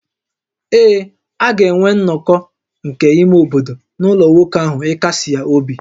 Ee, a ga-enwe nnọkọ nke ime obodo n’ụlọ nwoke ahụ ịkasi ya obi